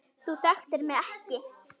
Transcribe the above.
Þú þekktir mig ekki.